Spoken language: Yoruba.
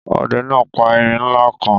Ọdẹ náà pa erin ńlá kan